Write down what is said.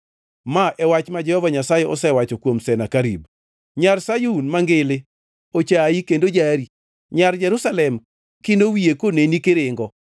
ma e wach ma Jehova Nyasaye osewacho kuom Senakerib: “Nyar Sayun Mangili ochayi kendo jari. Nyar Jerusalem kino wiye koneni kiringo.